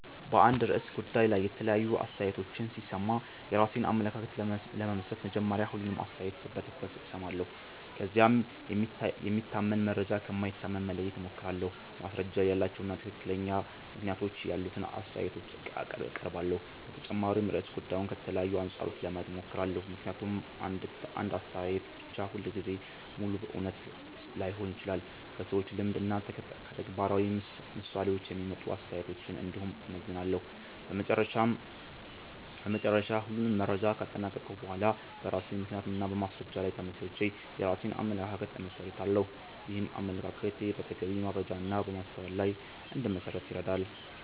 በአንድ ርዕሰ ጉዳይ ላይ የተለያዩ አስተያየቶችን ሲሰማ የራሴን አመለካከት ለመመስረት መጀመሪያ ሁሉንም አስተያየት በትኩረት እሰማለሁ። ከዚያም የሚታመን መረጃ ከማይታመን መለየት እሞክራለሁ፣ ማስረጃ ያላቸውን እና ትክክለኛ ምክንያቶች ያሉትን አስተያየቶች እቀበላለሁ። በተጨማሪም ርዕሰ ጉዳዩን ከተለያዩ አንጻሮች ለማየት እሞክራለሁ፣ ምክንያቱም አንድ አስተያየት ብቻ ሁልጊዜ ሙሉ እውነት ላይሆን ይችላል። ከሰዎች ልምድ እና ከተግባራዊ ምሳሌዎች የሚመጡ አስተያየቶችን እንዲሁም እመዘንላለሁ። በመጨረሻ ሁሉንም መረጃ ካጠናቀቅሁ በኋላ በራሴ ምክንያት እና በማስረጃ ላይ ተመስርቼ የራሴን አመለካከት እመሰርታለሁ። ይህም አመለካከቴ በተገቢ መረጃ እና በማስተዋል ላይ እንዲመሠረት ይረዳል።